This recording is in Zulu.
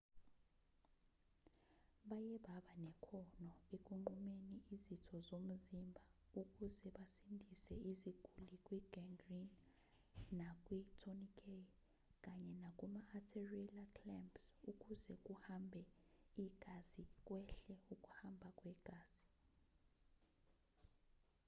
baye baba nekhono ekunqumeni izitho zomzimba ukuze basindise izguli kwi-gangrene nakwi-tourniquet kanye nakuma-arterila clampsukuze kuhambe igazikwehle ukuhamba kwegazi